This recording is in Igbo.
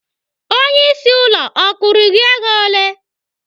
Onyeisi ụlọ ọ kwụrụ gị ego ole?